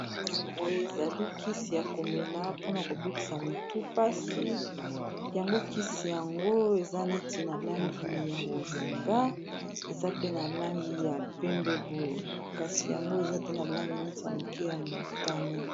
Kisi boye ezali kisi ya komela mpona kobikisa motu mpasi yango kisi yango eza neti na langi ya bozinga, eza pe na langi ya pembe boye kasi yango eza pe na langi neti ya moke ya motane.